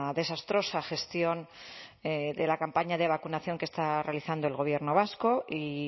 desastrosa gestión de la campaña de vacunación que está realizando el gobierno vasco y